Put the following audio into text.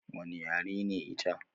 Wani yare ne ita?